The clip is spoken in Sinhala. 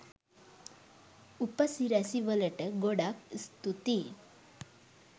උපසිරැසි වලට ගොඩක් ස්තූතී